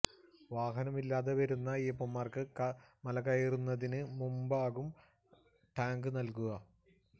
വാഹനം ഇല്ലാതെ വരുന്ന അയ്യപ്പന്മാര്ക്ക് മല കയറുന്നതിന് മുമ്പാവും ടാഗ് നല്കുക